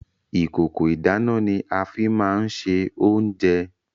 Ìkòkò ìdáná ni a fi máa ń ṣe oúnjẹ.